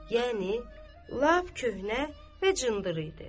Yəni, lap köhnə və cındır idi.